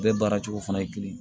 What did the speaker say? Bɛɛ baara cogo fana ye kelen ye